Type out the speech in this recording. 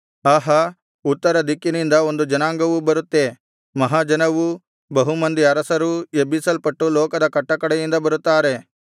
ಆಹಾ ಉತ್ತರ ದಿಕ್ಕಿನಿಂದ ಒಂದು ಜನಾಂಗವು ಬರುತ್ತೆ ಮಹಾ ಜನವೂ ಬಹು ಮಂದಿ ಅರಸರೂ ಎಬ್ಬಿಸಲ್ಪಟ್ಟು ಲೋಕದ ಕಟ್ಟಕಡೆಯಿಂದ ಬರುತ್ತಾರೆ